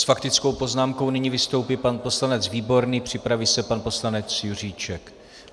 S faktickou poznámkou nyní vystoupí pan poslanec Výborný, připraví se pan poslanec Juříček.